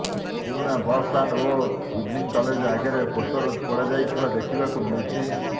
ପୁରୁଣା ବସ୍ଷ୍ଟାଣ୍ଡ ଓ evening college ଆଗରେ ପୋଷ୍ଟର ପୋଡ଼ାଯାଇଥିବା ଦେଖିବାକୁ ମିଳିଛି